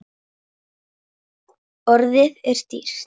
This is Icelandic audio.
Orðið er dýrt.